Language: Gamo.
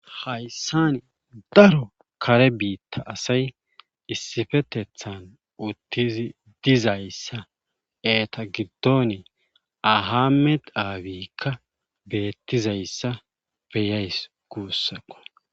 Hayssani daro kare biitta asay issifetethan uttizi dizayssa eeta giddon ahamme dhaawikka beettizayssa beyays guussaqo.